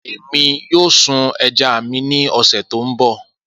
Emi yoo sun ẹja mi ni ọsẹ to nbọ